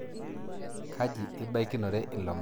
Kaji ibaikinore ilo marehemu